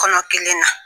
Kɔnɔ kelen na